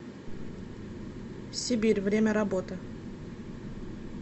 сибирь время работы